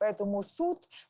поэтому суд